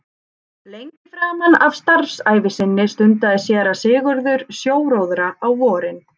Lengi framan af starfsævi sinni stundaði séra Sigurður sjóróðra á vorin.